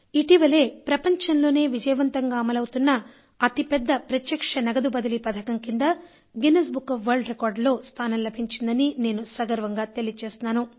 ఇటీవలే ప్రపంచంలోనే విజయవంతంగా అమలవుతున్న అతిపెద్ద ప్రత్యక్ష నగదు బదిలీ పథకం కింద గిన్నిస్ బుక్ ఆఫ్ వరల్డ్ రికార్డులో స్థానం లభించిందని నేను సగర్వంగా తెలియజేస్తున్నాను